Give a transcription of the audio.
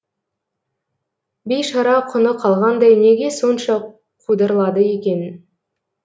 бейшара құны қалғандай неге сонша қудырлады екен